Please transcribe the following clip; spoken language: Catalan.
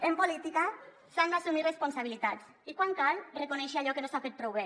en política s’han d’assumir responsabilitats i quan cal reconèixer allò que no s’ha fet prou bé